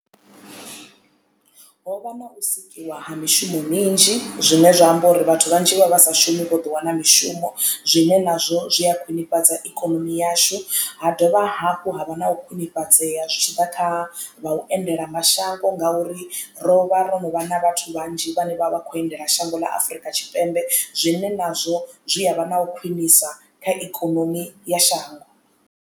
Ho vha na u sikiwa ha mishumo minzhi zwine zwa amba uri vhathu vhanzhi vha vha sa shumi vho ḓo wana mishumo zwine nazwo zwi a khwiṋifhadzisa ikonomi yashu ha dovha hafhu ha vha na u khwinifhadzea zwi tshiḓa kha u endela mashango ngauri ro vha ro no vha nw vhathu vhanzhi vhane vha vha kho endela shango ḽa Afurika Tshipembe zwine nazwo zwi ya vha na u khwinisa kha ikonomi ya shango.